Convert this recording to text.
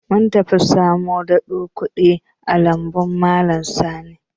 Mun tafi samo doɗon koɗi a lambun malam Sani.